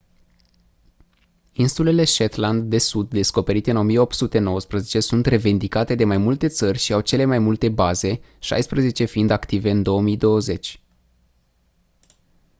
insulele shetland de sud descoperite în 1819 sunt revendicate de mai multe țări și au cele mai multe baze șaisprezece fiind active în 2020